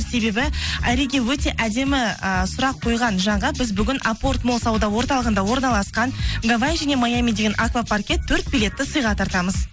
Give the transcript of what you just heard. себебі айриге өте әдемі ы сұрақ қойған жанға біз бүгін апорт молл сауда орталығында орналасқан гавай және маями деген авкапаркке төрт билетті сыйға тартамыз